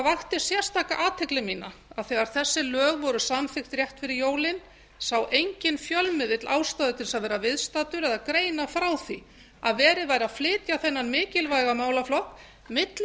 það vakti sérstaka athygli mína að þegar þessi lög voru samþykkt rétt fyrir jólin sá enginn fjölmiðill ástæðu til að vera viðstaddur eða greina frá því að verið væri að flytja þennan mikilvæga málaflokk milli